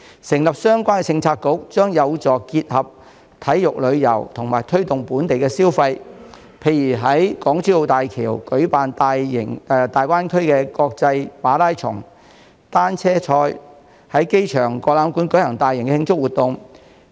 成立相關政策局，將有助結合體育旅遊和推動本地消費，例如可在港珠澳大橋舉辦粵港澳大灣區國際馬拉松或單車賽事，在亞洲國際博覽館舉行大型慶祝活動。